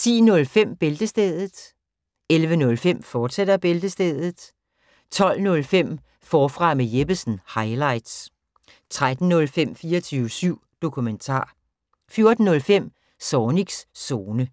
10:05: Bæltestedet 11:05: Bæltestedet, fortsat 12:05: Forfra med Jeppesen – highlights 13:05: 24syv Dokumentar 14:05: Zornigs Zone